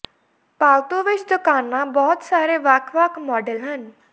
ਪਾਲਤੂ ਵਿਚ ਦੁਕਾਨਾ ਬਹੁਤ ਸਾਰੇ ਵੱਖ ਵੱਖ ਮਾਡਲ ਹਨ